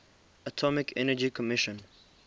atomic energy commission